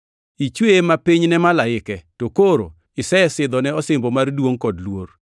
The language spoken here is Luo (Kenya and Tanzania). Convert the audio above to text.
Ichweye mapiny ne malaike to koro isesidhone osimbo mar duongʼ kod luor;